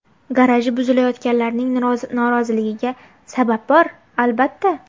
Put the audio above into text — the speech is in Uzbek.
Garaji buzilayotganlarning noroziligiga sabab bor, albatta.